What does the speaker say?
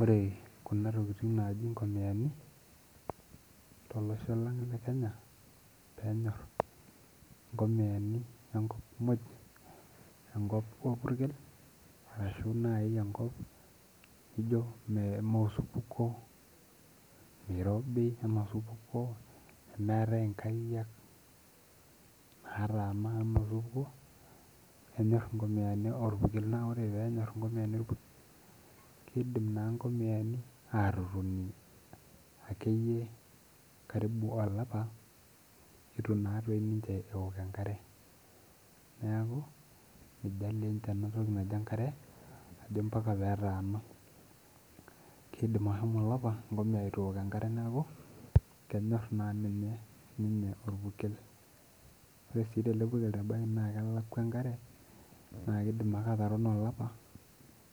Ore kuna tokitin naaji inkomiyani tolosho lang le kenya peenyorr inkomiyani enkop muj enkop orpukel ashu naaji enkop nijo ime mee osupuko meirobi anaa osupuko nemeetae inkariak nataana anotukuo enyorr inkomiyani orpurkel naa ore peenyorrr inkomiyani orpurkel keidim naa inkomiyani atotoni akeyie karibu olapa etu naa toi ninche ewok enkare neeku mijalie inche enatoki naji enkare ajo mpaka petaana kiidim ashomo olapa enkomiya etu ewok enkare niaku kenyorr naa ninye ninye orpurkel ore sii tele purkel ebaki naa kelakua enkare naa kidim ake atarono olapa